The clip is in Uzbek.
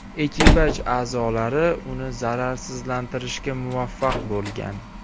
Ekipaj a’zolari uni zararsizlantirishga muvaffaq bo‘lgan.